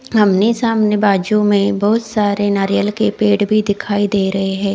आमने सामने बाजु में बहुत सारे नारियल के पेड़ भी दिखाइ दे रहे है।